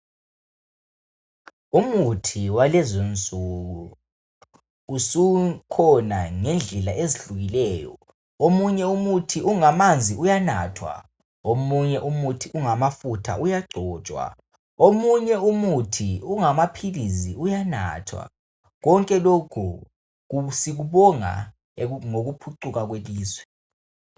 Umuthi walezinsuku usukhona ngendlela ezihlukileyo . Omunye ukuthi ungamanzi uyanathwa. Omunye umuthi ungamafutha uyagcotshwa. Omunye umuthi ungamaphilisi uyanathwa. Konke lokhu sikubonga ngokuphucuka kwelizwe.